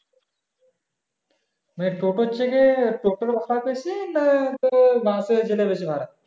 মানে টোটো থেকে টোটোর ভাড়া বেশি না bus যেটা বেশি ভাড়া?